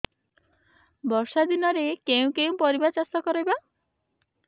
ବର୍ଷା ଦିନରେ କେଉଁ କେଉଁ ପରିବା ଚାଷ କରିବା